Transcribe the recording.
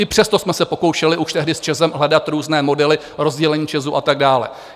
I přesto jsme se pokoušeli už tehdy s ČEZem hledat různé modely rozdělení ČEZu a tak dále.